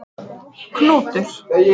Knútur